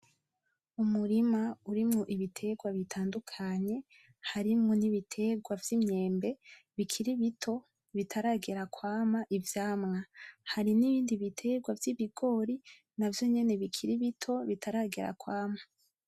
Umurima urimwo ibiterwa bitandukanye, harimwo n'ibiterwa vy'imyembe bikiri bito, bitaragera kwama ivyamwa . Hari n'ibindi biterwa vy'ibigori navyo nyene bikiri bito, bitaragera kwama.